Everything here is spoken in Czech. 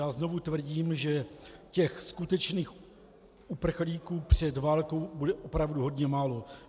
Já znovu tvrdím, že těch skutečných uprchlíků před válkou bude opravdu hodně málo.